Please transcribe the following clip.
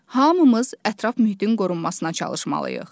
Hamımız ətraf mühitin qorunmasına çalışmalıyıq.